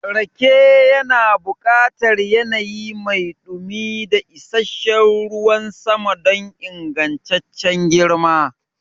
Rake yana buƙatar yanayi mai dumi da isasshen ruwan sama don ingantaccen girma.